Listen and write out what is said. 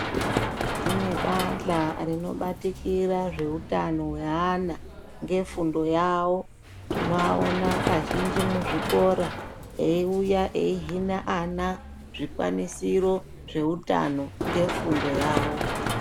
Kune bahla rinobatikira zveutano hweana ngefundo yavo tinoaona kazhinji muzvikora eiuya eihine ana zvikwanisiro zveutano ngefundo yavo.